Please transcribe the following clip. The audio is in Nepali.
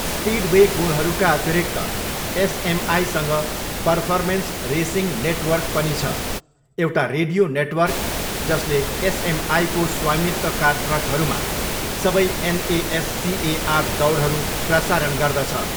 स्पिडवे गुणहरूका अतिरिक्त एसएमआईसँग पर्फर्मेन्स रेसिङ नेटवर्क पनि छ, एउटा रेडियो नेटवर्क जसले एसएमआईको स्वामित्वका ट्र्याकहरूमा सबै एनएएससिएआर दौडहरू प्रसारण गर्दछ।